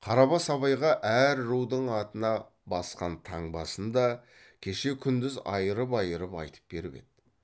қарабас абайға әр рудың атына басқан таңбасын да кеше күндіз айырып айырып айтып беріп еді